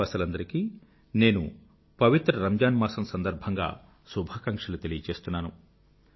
దేశవాసులందరికీ నేను పవిత్ర రంజాన్ మాసం సందర్భంగా శుభాకాంక్షలు తెలియచేస్తున్నాను